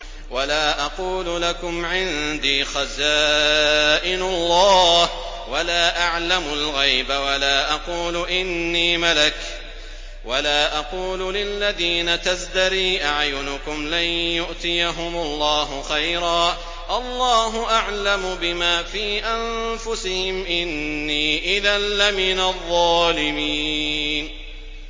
وَلَا أَقُولُ لَكُمْ عِندِي خَزَائِنُ اللَّهِ وَلَا أَعْلَمُ الْغَيْبَ وَلَا أَقُولُ إِنِّي مَلَكٌ وَلَا أَقُولُ لِلَّذِينَ تَزْدَرِي أَعْيُنُكُمْ لَن يُؤْتِيَهُمُ اللَّهُ خَيْرًا ۖ اللَّهُ أَعْلَمُ بِمَا فِي أَنفُسِهِمْ ۖ إِنِّي إِذًا لَّمِنَ الظَّالِمِينَ